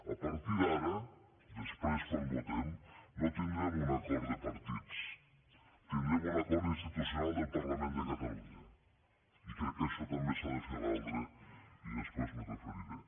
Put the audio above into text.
a partir d’ara després quan votem no tindrem un acord de partits tindrem un acord institucional del parlament de catalunya i crec que això també s’ha de fer valdre i després m’hi referiré